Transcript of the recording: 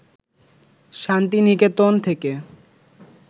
শান্তি নিকেতন থেকে